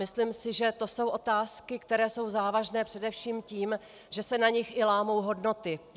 Myslím si, že to jsou otázky, které jsou závažné především tím, že se na nich i lámou hodnoty.